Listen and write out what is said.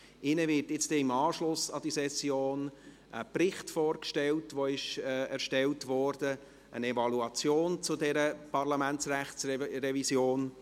Ihnen wird im Anschluss an diese Session ein Bericht vorgestellt, der erstellt wurde, eine Evaluation zu dieser Parlamentsrechtsrevision.